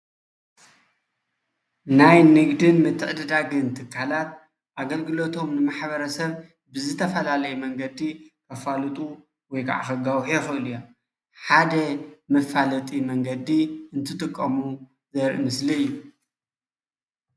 ናይ ንግዲ ምትዕድዳግ ትካላት ኣገልግሎቶም ንማሕበረሰብ ብዝተፈላለየ መንገዲ ከፋልጡ ወይ ከከጋውሑ ይክእሉ እዮም ሓደ መፋለጢ መንገዲ እንትጥቀሙ ዘርኢ ምስሊ እዩ፡፡